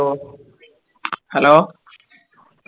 hello